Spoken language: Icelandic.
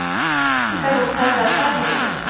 Flettingar voru tæplega tvær milljónir.